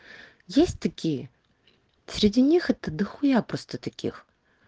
есть такие среди них это да хуя просто таких